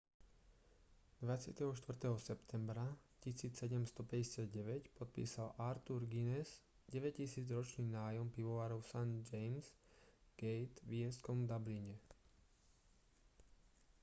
24. septembra 1759 podpísal arthur guinness 9 000-ročný nájom pivovaru st james' gate v írskom dubline